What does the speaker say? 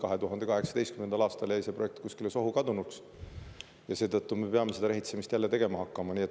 2018. aastal jäi see projekt kuskile sohu kadunuks ja seetõttu me peame seda rehitsemist jälle tegema hakkama.